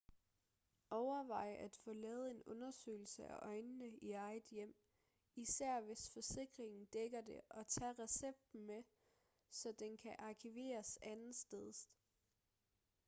overvej at få lavet en undersøgelse af øjnene i eget hjem især hvis forsikringen dækker det og tag recepten med så den kan arkiveres andetsteds